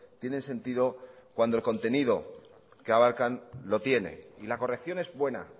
tiene sentido cuando el contenido que abarcan lo tiene y la corrección es buena